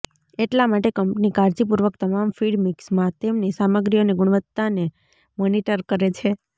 એટલા માટે કંપની કાળજીપૂર્વક તમામ ફીડ મિક્સમાં તેમની સામગ્રી અને ગુણવત્તાને મોનિટર કરે છે